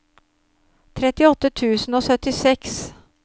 trettiåtte tusen og syttiseks